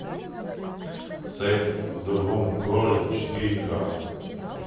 секс в другом городе четыре ка